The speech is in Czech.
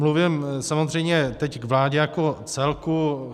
Mluvím samozřejmě teď k vládě jako celku.